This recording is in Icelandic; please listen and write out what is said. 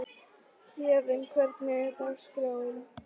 Héðinn, hvernig er dagskráin?